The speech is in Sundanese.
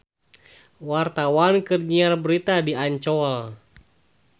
Wartawan keur nyiar berita di Ancol